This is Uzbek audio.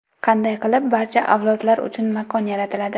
Qanday qilib barcha avlodlar uchun makon yaratiladi?